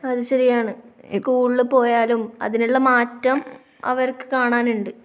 അത് ശരിയാണ്. സ്കൂളിൽ പോയാലും, അതിനുള്ള മാറ്റം അവർക്കു കാണാനുണ്ട്.